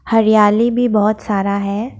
हरियाली भी बहोत सारा है।